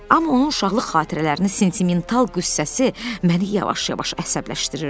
Amma onun uşaqlıq xatirələrini sentimental qüssəsi məni yavaş-yavaş əsəbləşdirirdi.